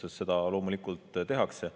Sellega loomulikult tegeldakse.